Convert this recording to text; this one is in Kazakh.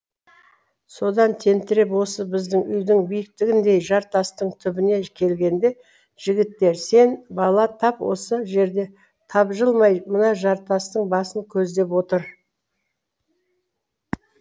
содан тентіреп осы біздің үйдің биіктігіндей жартастың түбіне келгенде жігіттер сен бала тап осы жерде тапжылмай мына жартастың басын көздеп отыр